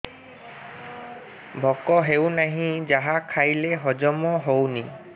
ଭୋକ ହେଉନାହିଁ ଯାହା ଖାଇଲେ ହଜମ ହଉନି